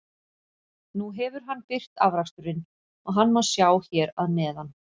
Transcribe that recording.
Nú hefur hann birt afraksturinn og hann má sjá hér að neðan.